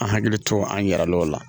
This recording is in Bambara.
An hakili to an yɛrɛ lew la